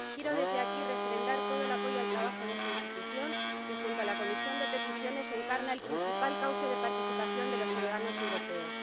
Quiero desde aquí refrendar todo el apoyo al trabajo de esta institución que, junto a la Comisión de Peticiones, encarna el principal cauce de participación de los ciudadanos europeos.